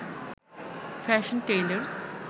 fashion tailors